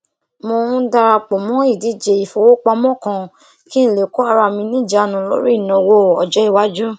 mo um dara pò mó ìdíje ìfowópamọ kan kí n lè kó ara mi ní ìjánu lórí ìnáwó ọjọìwájú